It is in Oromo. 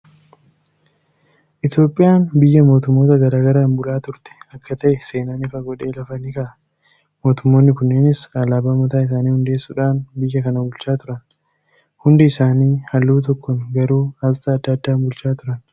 Itoophiyaan biyya mootummoota garaa garaan bula turte akka ta'e seenaan ifa godhee lafa ni kaa'a. Mootummoonni kunneenis alaabaa mataa isaanii hundeessuudhaan biyya kana buchaa turan. Hundi isaanii halluu tokkoon garuu asxaa adda addaan bulchaa turani.